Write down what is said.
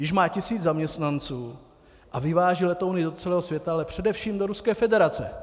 Již má tisíc zaměstnanců a vyváží letouny do celého světa, ale především do Ruské federace.